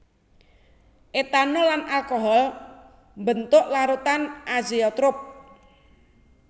Etanol lan alkohol mbentuk larutan azeotrop